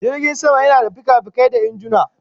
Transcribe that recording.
Jirgin sama yana da fikafikai da injuna